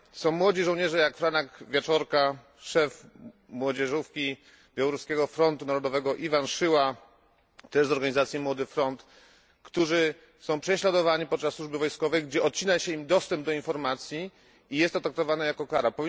Są młodzi żołnierze, jak Franek Wieczorka, szef młodzieżówki Białoruskiego Frontu Młodzieżowego, Iwan Szyła, też z organizacji Młody Front, którzy są prześladowani podczas służby wojskowej, gdzie odcina się im dostęp do informacji i jest to traktowane jako kara.